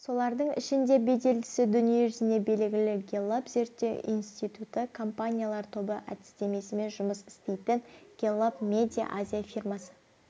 солардың ішінде беделдісі дүниежүзіне белгілі гэллап зерттеу институты компаниялар тобы әдістемесімен жұмыс істейтін гэллап медиа азия фирмасы